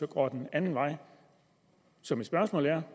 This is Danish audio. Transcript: går den anden vej så mit spørgsmål er